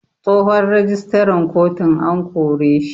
Tsohon rijistaran kotun an koreshi.